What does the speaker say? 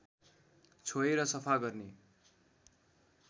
छोएर सफा गर्ने